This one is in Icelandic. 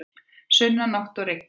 Sunnanátt og rigning